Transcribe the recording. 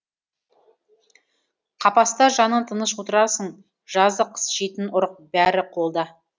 қапаста жаның тыныш отырасың жазы қыс жейтін ұрық бәрі қолда